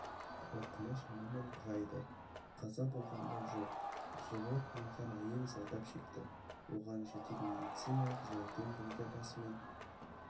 ауқымы шамамен құрайды қаза болғандар жоқ жылы туған әйел зардап шекті оған жедел медециналық жәрдем бригадасымен